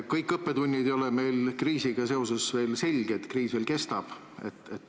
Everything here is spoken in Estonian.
Kõik õppetunnid ei ole meil kriisiga seoses veel selged, kriis veel kestab.